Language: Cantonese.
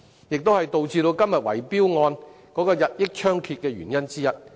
這也是導致今天圍標問題日益猖獗的原因之一。